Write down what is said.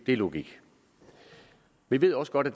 det er logisk vi ved også godt at